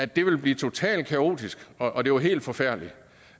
det ville blive totalt kaotisk og det var helt forfærdeligt